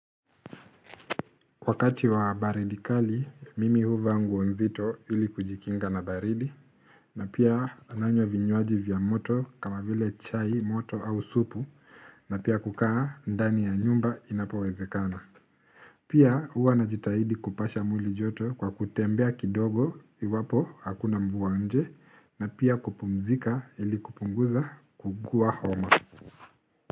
Wakati wa baridi kali, mimi huvaa nguo nzito ili kujikinga na baridi, na pia nanywa vinywaji vya moto kama vile chai, moto au supu, na pia kukaa ndani ya nyumba inapowezekana. Pia huwa na jitahidi kupasha mwii joto kwa kutembea kidogo iwapo hakuna mvua nje, na pia kupumzika ili kupunguza kuugua homo.